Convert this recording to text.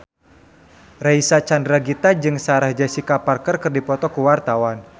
Reysa Chandragitta jeung Sarah Jessica Parker keur dipoto ku wartawan